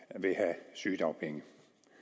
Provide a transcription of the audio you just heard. synes og